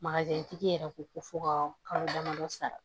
tigi yɛrɛ ko ko fo ka kalo damadɔ sara